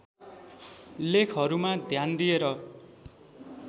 लेखहरूमा ध्यान दिएर